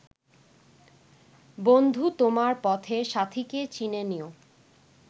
বন্ধু তোমার পথের সাথীকে চিনে নিও